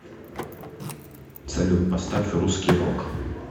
салют поставь русский рок